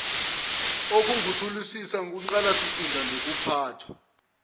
okungukuthuthukisa ingqalasizinda nokuphathwa